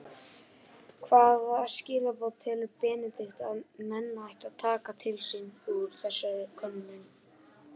Hvaða skilaboð telur Benedikt að menn ættu að taka til sín úr þessari könnun?